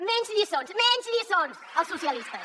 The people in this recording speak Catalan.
menys lliçons menys lliçons als socialistes